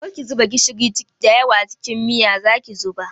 Kar ki zuba gishiri da yawa a cikin miya, zaki zuba?